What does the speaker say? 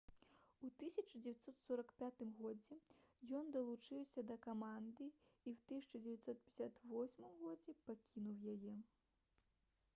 у 1945 годзе ён далучыўся да каманды і ў 1958 годзе пакінуў яе